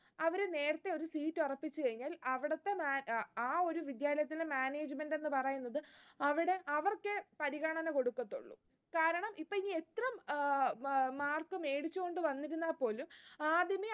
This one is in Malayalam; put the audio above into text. അവർ നേരത്തെ ഒരു seat ഉറപ്പിച്ചു കഴിഞ്ഞാൽ, അവിടത്തെ ആ ഒരു വിദ്യാലയത്തിലെ management എന്നു പറയുന്നത്, അവിടെ അവർക്കെ പരിഗണന കൊടുക്കത്തൊള്ളൂ. കാരണം ഇനി ഇപ്പോ എത്ര mark മേടിച്ച്കൊണ്ട് വന്നിരുന്നാൽ പോലും ആദ്യമേ